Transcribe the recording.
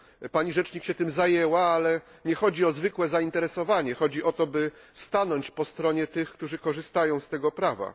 Pani Rzecznik się tym zajęła, ale nie chodzi o zwykłe zainteresowanie, chodzi o to, by stanąć po stronie tych, którzy korzystają z tego prawa.